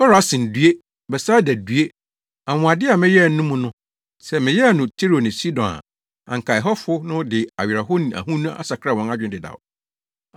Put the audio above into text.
“Korasin, due! Betsaida, due! Anwonwade a meyɛɛ no mo mu no, sɛ meyɛɛ no Tiro ne Sidon a, anka ɛhɔfo no de awerɛhow ne ahonu asakra wɔn adwene dedaw.